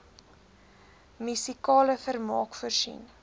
musikale vermaak voorsien